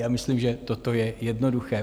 Já myslím, že toto je jednoduché.